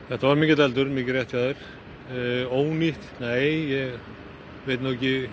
þetta var mikill eldur er húsíð ónýtt nei ég veit ekki